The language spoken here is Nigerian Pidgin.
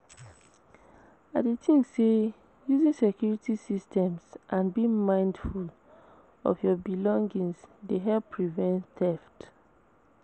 I dey think say using security systems and being mindful of your belongings dey help prevent theft.